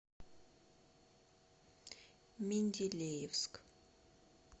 менделеевск